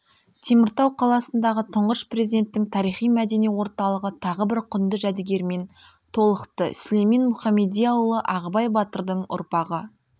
теміртау қаласындағы тұңғыш президенттің тарихи-мәдени орталығы тағы бір құнды жәдігермен толықты сүлеймен мұхамедияұлы ағыбай батырдың ұрпағы